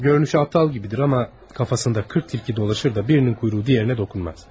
Görünüşü aptal kimidir, amma kafasında qırx tilki dolaşır da, birinin quyruğu digərinə toxunmaz.